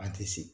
A tɛ se